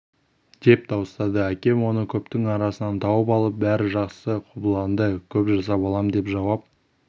деп дауыстады әкем оны көптің арасынан тауып алып бәрі жақсы қобыланды көп жаса балам деп жауап